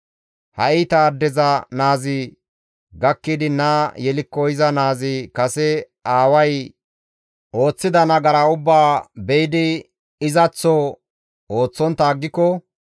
«Ha iita addeza naazi gakkidi naa yelikko iza naazi kase aaway ooththida nagara ubbaa be7idi izaththo ooththontta aggiko,